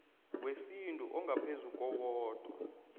wesintu ongaphezu kowodwa